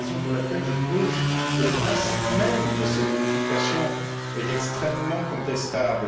C'est la raison pour laquelle je trouve que le principe même de ces modifications est extrêmement contestable.